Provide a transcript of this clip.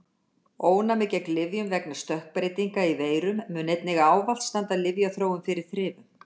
Ónæmi gegn lyfjum vegna stökkbreytinga í veirum mun einnig ávallt standa lyfjaþróun fyrir þrifum.